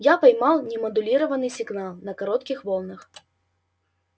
я поймал немодулированный сигнал на коротких волнах